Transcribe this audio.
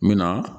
N bɛ na